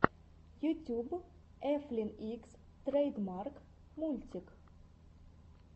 ютьюб эфлин икс трэйдмарк мультик